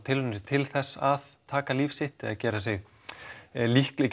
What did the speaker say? tilraunir til þess að taka líf sitt eða gera sig líklegan